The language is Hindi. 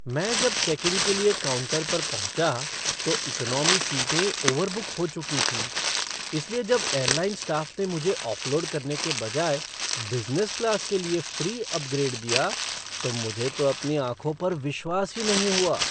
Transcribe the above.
मैं जब चेक इन के लिए काउंटर पर पहुँचा, तो इकोनॉमी सीटें ओवरबुक हो चुकी थीं, इसलिए जब एयरलाइन स्टाफ़ ने मुझे ऑफ़लोड करने के बजाय बिज़नेस क्लास के लिए फ़्री अपग्रेड दिया, तो मुझे तो अपनी आँखों पर विश्वास ही नहीं हुआ।